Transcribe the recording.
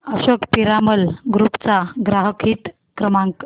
Ashok Piramal group चा ग्राहक हित क्रमांक